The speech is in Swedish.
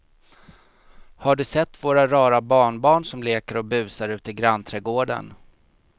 Har du sett våra rara barnbarn som leker och busar ute i grannträdgården!